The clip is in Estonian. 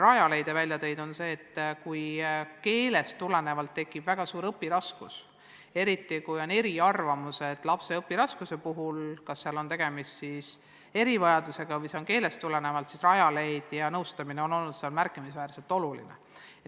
Rajaleidja lõid nad selleks, et kui keelest tulenevalt tekib väga suur mahajäämus ja on eriarvamused, kas tegemist on erivajadustega või tulenevad õpiraskused üksnes keelest, siis Rajaleidja nõustamine on olnud märkimisväärselt oluline.